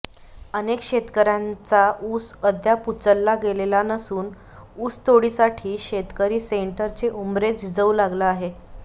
अनेक शेतकर्यांचा ऊस अद्याप उचलला गेलेला नसून ऊसतोडीसाठी शेतकरी सेंटरचे ऊंबरे झिजवू लागला आहे